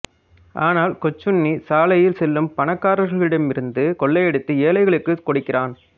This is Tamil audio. ஆனால் கொச்சுண்ணி சாலையில் செல்லும் பணக்காரர்களிடமிருந்து கொள்ளையடித்து ஏழைகளுக்கு கொடுக்கிறான்